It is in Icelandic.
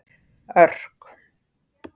Örk